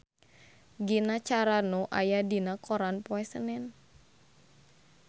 Gina Carano aya dina koran poe Senen